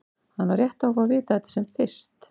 Hann á rétt á að fá að vita þetta sem fyrst.